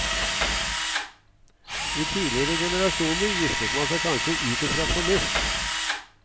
I tidligere generasjoner giftet man seg kanskje ut ifra fornuft.